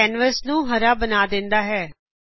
ਇਹ ਕੈਨਵਸ ਨੂੰ ਹਰੇ ਰੰਗ ਵਿਚ ਬਦਲਦੀ ਹੈ